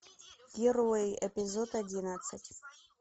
герои эпизод одиннадцать